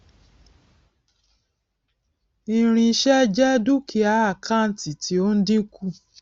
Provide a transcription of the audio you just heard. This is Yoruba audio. irinṣẹ jẹ dúkìá àkántì tí ó ń dínkù